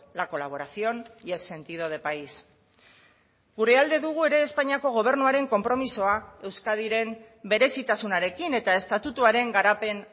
la colaboración y el sentido de país gure alde dugu ere espainiako gobernuaren konpromisoa euskadiren berezitasunarekin eta estatutuaren garapen